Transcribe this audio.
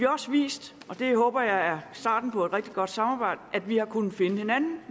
også vist og det håber jeg er starten på et rigtig godt samarbejde at vi har kunnet finde hinanden